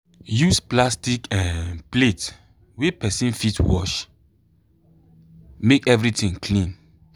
use plastic um plate wey person fit wash make everything clean.